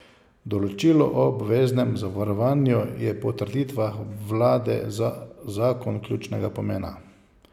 Določilo o obveznem zavarovanju je po trditvah vlade za zakon ključnega pomena.